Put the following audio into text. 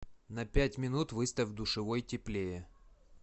на пять минут выставь в душевой теплее